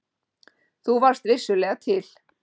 Þú varst vissulega til.